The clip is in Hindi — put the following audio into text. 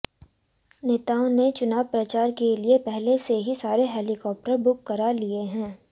नेताओं ने चुनाव प्रचार के लिए पहले से ही सारे हेलीकॉप्टर बुक करा लिए हैं